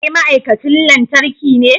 Kai ma'aikacin lantarki ne?